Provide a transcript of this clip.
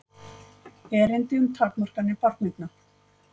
Erindi um takmarkanir barneigna.